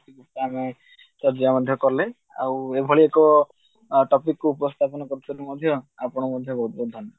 ମଧ୍ୟ କଲେ ଆଉ ଏଭଳି ଏକ ଅ topic ଉପସ୍ଥାପନ କରିଥିବାରୁ ମଧ୍ୟ ଆପଣଙ୍କୁ ମଧ୍ୟ ବହୁତ ବହୁତ